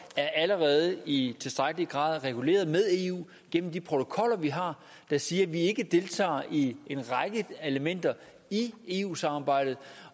er allerede i tilstrækkelig grad reguleret med eu gennem de protokoller vi har der siger at vi ikke deltager i en række elementer i eu samarbejdet